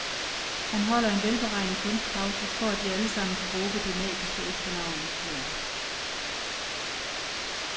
Han holder en velberegnet kunstpause, for at vi allsammen kan råbe det magiske efternavn i kor.